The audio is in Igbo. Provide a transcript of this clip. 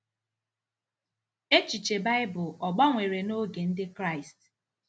Echiche Baịbụl ọ̀ gbanwere n’oge Ndị Kraịst?